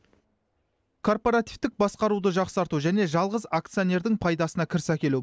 корпаративтік басқаруды жақсарту және жалғыз акционердің пайдасына кіріс әкелу